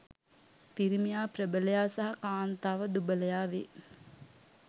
පිරිමියා ප්‍රබලයා සහ කාන්තාව දුබලයා වේ.